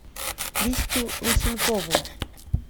кристю лысенкову